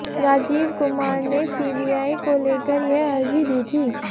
राजीव कुमार ने सीबीआई को लेकर यह अर्जी दी थी